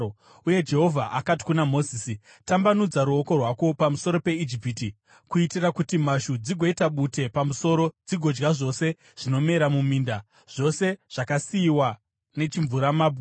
Uye Jehovha akati kuna Mozisi, “Tambanudza ruoko rwako pamusoro peIjipiti kuitira kuti mhashu dzigoita bute pamusoro dzigodya zvose zvinomera muminda, zvose zvakasiyiwa nechimvuramabwe.”